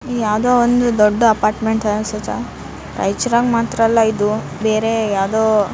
ಯಾವ್ದೊ ಒಂದು ದೊಡ್ಡ ಅಪಾರ್ಟ್ಮೆಂಟ್ ಅನ್ಸುತ್ತ ರೈಚೂರದಾಗ ಮಾತ್ರ ಅಲ್ಲ ಇದು ಬೇರೆ ಯಾವ್ದೋ --